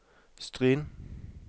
Stryn